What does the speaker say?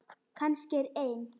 Kannski er ein